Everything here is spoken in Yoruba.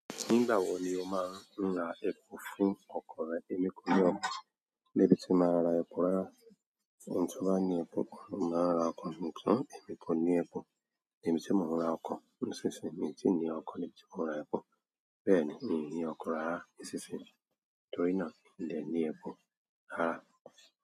Nígbà wo ni o máa ń ra epo fún ọkọ̀ rẹ, ẹmí ko ní ọkọ̀, níbi tí mo máa ra epo rárá. Ẹni toba ni epo, oun lo máa ń ra ọkọ̀, ṣùgbọ́n emí kò ní epo. Níbi tí mò ń ra ọkọ̀ nísinsìnyí, mio tí ní ọkọ̀ ni ti mó ń ra epo. Bẹ́ẹ̀ni mii ní ọkọ̀ rárá nísinsìnyí, torí náà mi ò lè ní epo rárá.